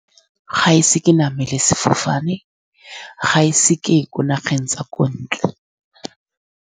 Ga e se ke namele sefofane. Ga e se ke ye ko nageng tsa ko ntle.